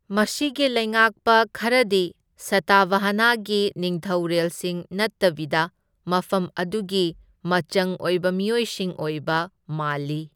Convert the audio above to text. ꯃꯁꯤꯒꯤ ꯂꯩꯉꯥꯛꯄ ꯈꯔꯗꯤ ꯁꯇꯚꯥꯍꯥꯅꯒꯤ ꯅꯤꯡꯊꯧꯔꯦꯜꯁꯤꯡ ꯅꯠꯇꯕꯤꯗ ꯃꯐꯝ ꯑꯗꯨꯒꯤ ꯃꯆꯪ ꯑꯣꯏꯕ ꯃꯤꯑꯣꯏꯁꯤꯡ ꯑꯣꯏꯕ ꯃꯥꯜꯂꯤ꯫